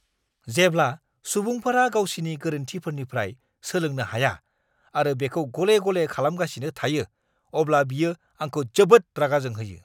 जेब्ला सुबुंफोरा गावसिनि गोरोन्थिफोरनिफ्राय सोलोंनो हाया आरो बेखौ गले-गले खालामगासिनो थायो, अब्ला बियो आंखौ जोबोद रागा जोंहोयो!